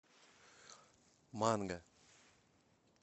манго